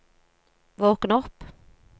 våkn opp